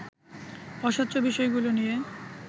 অস্বচ্ছ বিষয়গুলো নিয়ে